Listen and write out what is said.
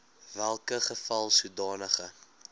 welke geval sodanige